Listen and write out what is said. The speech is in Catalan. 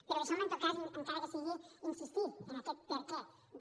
però deixeu me en tot cas encara que sigui insistir en aquest perquè de